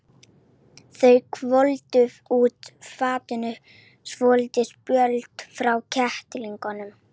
Þeir hvolfdu úr fatinu svolítinn spöl frá kettlingunum.